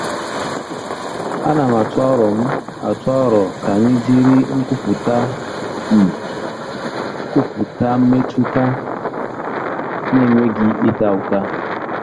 Ana m atụ aro m atụ aro ka anyị jiri nkwupụta “M” kwupụta mmetụta na-enweghị ịta ụta.